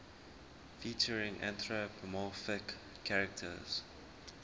featuring anthropomorphic characters